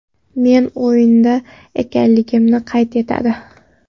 Meni o‘yinda ekanligimni qayd etadi.